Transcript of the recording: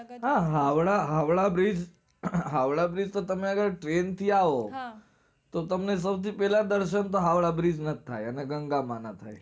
આ Howrah Howrah bridge Howrah bridge તો તમારે train થી આવો તો તમને સૌથી પહેલા દર્શન તો હાવડા bridge ના જ થાય અને ગંગા માં ના થાય